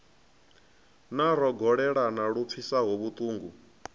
na rogolelana lu pfisaho vhutungu